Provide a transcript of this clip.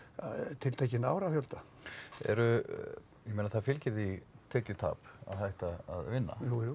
tiltekinn árafjölda eru ég meina það fylgir því tekjutap að hætta að vinna jújú